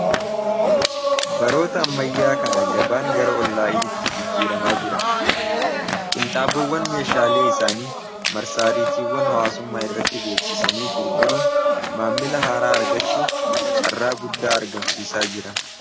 baroota ammayyaa kana gabaan gara ol laa'initti jijjiiramaa jira qinxaaboowwan meeshaalee isaanii marsaariitiiwwan hawaasumaa irratti beeksisanii gurguruun maammila haaraa argachuuf carraa guddaa argamsiisaa jira